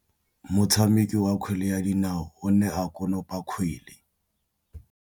Motshameki wa kgwele ya dinaô o ne a konopa kgwele.